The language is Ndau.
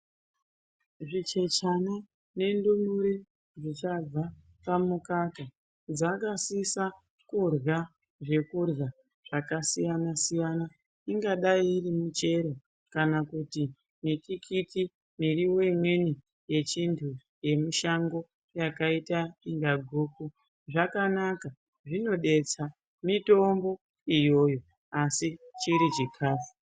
Zvichechana nendumure zvichabva pamukaka dzakasisa kurya zvekurya zvakasiyana-siyana. Ingadai iri michero kana kuti mitikiti, mirivo imweni yechintu yemushango yakaita inga guku. Zvakanaka zvinodetsa mitombo iyoyo, asi chiri chikafu.